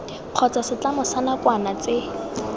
kgotsa setlamo sa nakwana tse